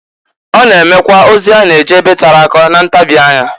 Ọ na-emekwa ozi a na-eje ebe tere aka na ntabi anya.